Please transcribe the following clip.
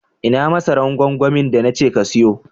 Ina masaran gwangwamin da na ce ka siyu?